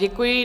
Děkuji.